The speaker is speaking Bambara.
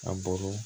A bɔr'o